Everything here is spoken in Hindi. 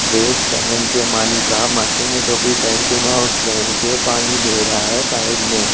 ड्रेस पहन के टोपी पहन के पानी दे रहा है पाइप में --